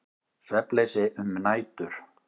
Svefnleysi um nætur.